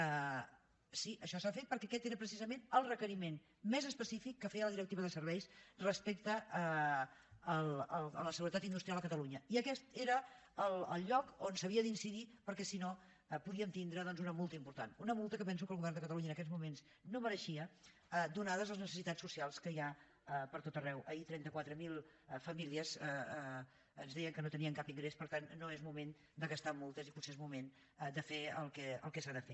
sí això s’ha fet perquè aquest era precisament el requeriment més específic que feia la directiva de serveis respecte a la seguretat industrial a catalunya i aquest era el lloc on s’havia d’incidir perquè si no podíem tindre doncs una multa important una multa que penso que el govern de catalunya en aquests moments no mereixia ateses les necessitats socials que hi ha pertot arreu ahir trenta quatre mil famílies ens deien que no tenien cap ingrés per tant no és moment de gastar en multes i potser és moment de fer el que s’ha de fer